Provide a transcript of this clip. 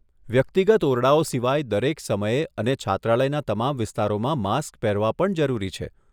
વ્યક્તિગત ઓરડાઓ સિવાય દરેક સમયે અને છાત્રાલયના તમામ વિસ્તારોમાં માસ્ક પહેરવા પણ જરૂરી છે.